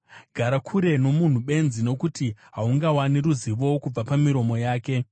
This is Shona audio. Gara kure nomunhu benzi, nokuti haungawani ruzivo kubva pamiromo yake.